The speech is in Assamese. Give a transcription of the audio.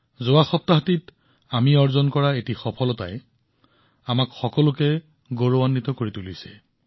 যোৱা সপ্তাহত আমি এনে এক কৃতিত্ব অৰ্জন কৰিছিলোঁ যিয়ে আমাক গৌৰৱান্বিত কৰি তুলিছিল